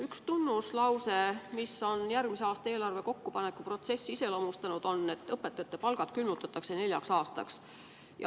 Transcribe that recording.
Üks tunnuslause, mis on järgmise aasta eelarve kokkupanekuprotsessi iseloomustanud, on see, et õpetajate palgad külmutatakse neljaks aastaks.